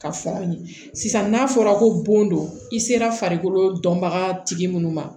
Ka fɔ aw ye sisan n'a fɔra ko bon don i sera farikolo dɔnbaga tigi minnu ma